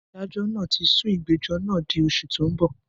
Adájọ́ náà tí sún ìgbẹ́jọ́ náà di oṣù tó ń bọ̀.